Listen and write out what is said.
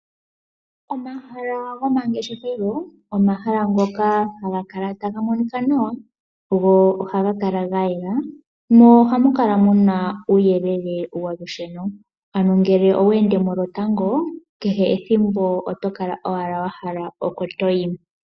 Omahala gomangeshefelo omahala ngoka haga kala taga monika nawa . Go ohaga kala ga yela mo ohamu kala muna uuyelele wolusheno . Ano ngele owe ende mo lotango kehe ethimbo oto kala owala wa hala oko toyi.